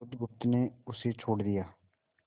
बुधगुप्त ने उसे छोड़ दिया